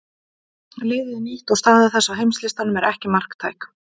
Liðið er nýtt og staða þess á heimslistanum er ekki marktæk.